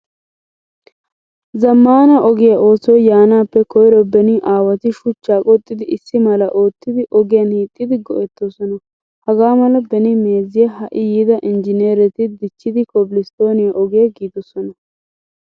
Zamaana ogiyaa oosoy yaanappe koyro beni aawati shuchcha qoxxidi issimala oottidi ogiyan hiixidi go'ettoosona. Hagaamala beni meeziyaa hai yiida engineeretti dichchidi kobilostoniyaa ogiyaa giidosona.